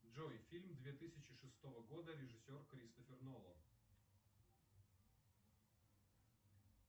джой фильм две тысячи шестого года режиссер кристофер нолан